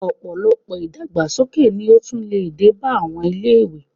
Ọ̀pọ̀lọpọ̀ ìdàgbàsókè ni ó tún lè dé bá àwọn ilé-ìwé